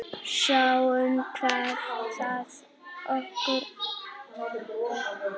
Sjáum hvað það skilar okkur.